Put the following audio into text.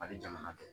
A bɛ jamana dɔn